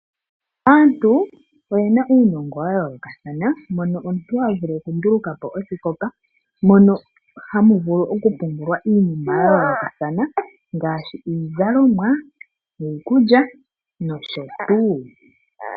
Aantu oyena uunongo wa yoolokathana mono omuntu ha vulu okundulukapo osikopa mono ha mu vulu oku pungulwa iinima ya yoolokathana ngaashi iizalomwa, iikulya nosho tuu.